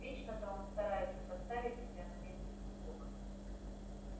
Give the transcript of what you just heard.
вечно-то он старается поставить себя на место другого